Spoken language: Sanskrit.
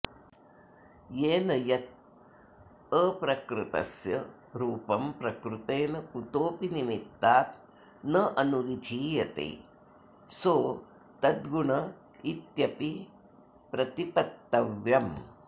तेन यत् अप्रकृतस्य रूपं प्रकृतेन कुतोऽपि निमित्तात् नानुविधीयते सोऽतद्गुण इत्यपि प्रतिपत्तव्यम्